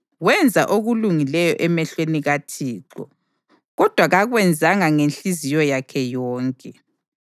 Wenza okulungileyo emehlweni kaThixo, kodwa kakwenzanga ngenhliziyo yakhe yonke.